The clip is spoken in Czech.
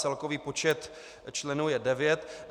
Celkový počet členů je devět.